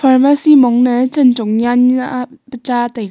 pharmacy mongna chan chong nyanla pa cha taiga.